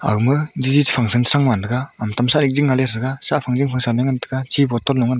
aga ma function tam sa sah phang sa am lik phangsa ngan tai ga chi bottle .